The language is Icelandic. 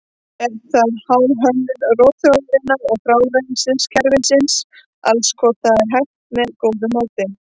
Er það háð hönnun rotþróarinnar og frárennsliskerfisins alls hvort þetta er hægt með góðu móti.